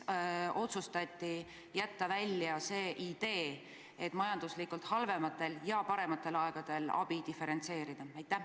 Miks otsustati loobuda ideest, et majanduslikult halvematel ja parematel aegadel abi diferentseerida?